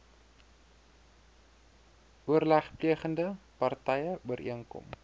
oorlegplegende partye ooreenkom